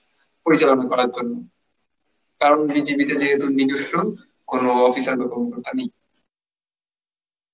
পরিচালনা করার জন্য. তাও BGP তে যেহেতু নিজস্ব কোন officer বা কোন প্রধান নেই.